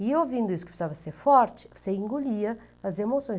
E ouvindo isso, que eu precisava ser forte, você engolia as emoções.